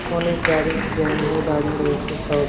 অনেক গাড়ি জ্যাম হয়ে দাঁড়িয়ে রয়েছে সব --